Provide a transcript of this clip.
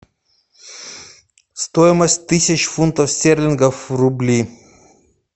стоимость тысяч фунтов стерлингов в рубли